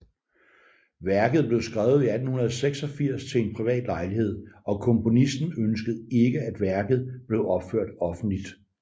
Værket blev skrevet i 1886 til en privat lejlighed og komponisten ønskede ikke at værket blev opført offentligt